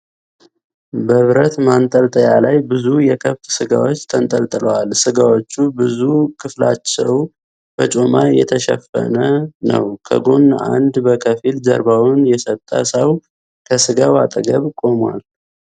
በብረት ማንጠልጠያ ላይ ብዙ የከብት ስጋዎች ተንጠልጥለዋል። ስጋዎቹ ብዙ ክፍላቸው በጮማ የተሸፈነ ነው። ከጎን አንድ በከፊል ጀርባውን የሰጠ ሰው ከስጋው አጠገብ ቆሟል።